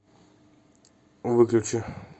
выключи